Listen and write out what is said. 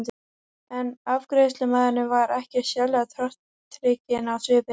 En afgreiðslumaðurinn var ekkert sérlega tortrygginn á svipinn.